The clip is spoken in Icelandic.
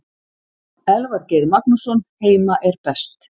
Elvar Geir Magnússon Heima er best.